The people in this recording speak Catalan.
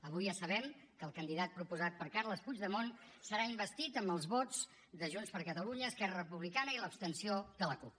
avui ja sabem que el candidat proposat per carles puigdemont serà investit amb els vots de junts per catalunya esquerra republicana i l’abstenció de la cup